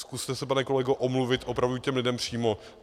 Zkuste se, pane kolego, omluvit opravdu těm lidem přímo.